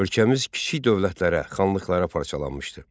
Ölkəmiz kiçik dövlətlərə, xanlıqlara parçalanmışdı.